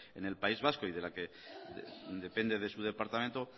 en el país vasco y de la que depende de su departamento